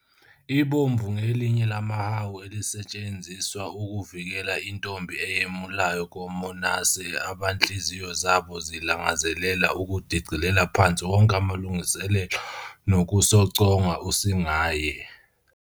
Ibomvu ngelinye lamahawu elisetshenziswa ukuvikela intombi eyemulayo komonase abanhliziyo zabo zilangazelela ukudicilela phansi wonke amalungiselelo nokusoconga usingaye.